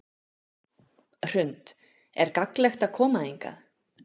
Hrund: Er gagnlegt að koma hingað?